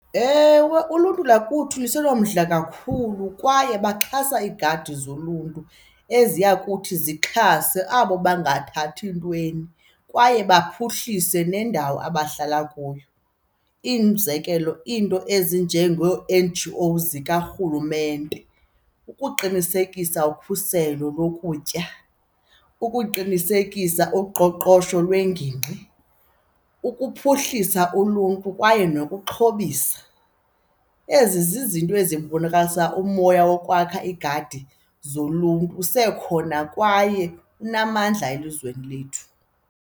Ewe, uluntu lakuthi usenomdla kakhulu kwaye baxhasa iigadi zoluntu eziya kuthi zixhase abo bangathathi ntweni kwaye baphuhlise nendawo abahlala kuyo. Umzekelo, iinto ezinjengo-N_G_O zikarhulumente ukuqinisekisa ukhuselo lokutya, ukuqinisekisa uqoqosho lwengingqi, ukuphuhlisa uluntu kwaye nokuxhobisa. Ezi zizinto ezibonakalisa umoya wokwakha iigadi zoluntu usekhona kwaye unamandla elizweni lethu.